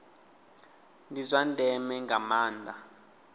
ndi zwa ndeme nga maanda